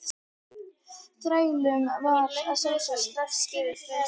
Þrælunum var að sjálfsögðu strax gefið frelsi.